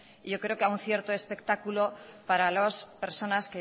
y yo creo que a un cierto espectáculo para las personas